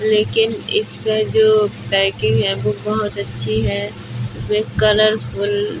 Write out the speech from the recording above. लेकिन इसका जो पैकिंग है वो बहोत अच्छी है। वे कलरफुल --